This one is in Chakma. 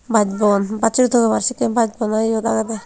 baasbon bassuri togebar sekkey baasbon i iyot agedey.